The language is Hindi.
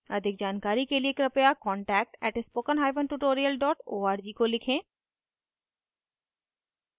अधिक जानकारी के कृपया contact @spokentutorial org को लिखें